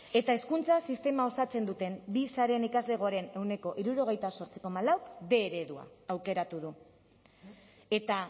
eta hezkuntza sistema osatzen duten bi sareen ikaslegoaren ehuneko hirurogeita zortzi koma lauk bostehun eredua aukeratu du eta